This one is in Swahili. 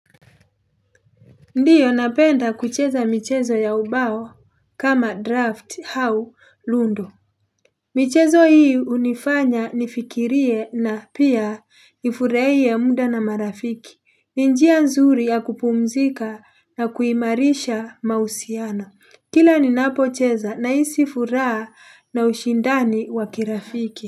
Ndiyo napenda kucheza michezo ya ubao kama draft hau lundo michezo hii unifanya nifikirie na pia nifurahiye muda na marafiki ni njia nzuri ya kupumzika na kuimarisha mahusiano Kila ninapocheza nahisi furaa na ushindani wa kirafiki.